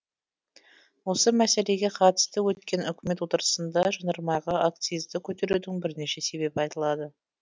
осы мәселеге қатысты өткен үкімет отырысында жанармайға акцизді көтерудің бірнеше себебі айтылды